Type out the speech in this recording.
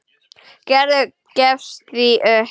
Gerður gefst því upp.